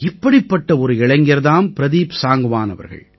இப்படிப்பட்ட ஒரு இளைஞர் தாம் பிரதீப் சாங்க்வான் அவர்கள்